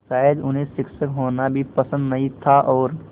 शायद उन्हें शिक्षक होना भी पसंद नहीं था और